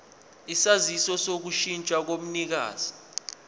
isaziso sokushintsha komnikazi